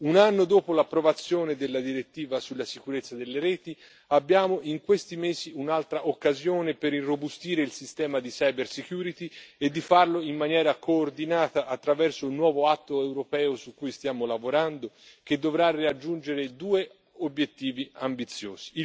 Un anno dopo l'approvazione della direttiva sulla sicurezza delle reti, abbiamo in questi mesi un'altra occasione per irrobustire il sistema di cybersecurity e di farlo in maniera coordinata attraverso un nuovo atto europeo su cui stiamo lavorando, che dovrà raggiungere due obiettivi ambiziosi.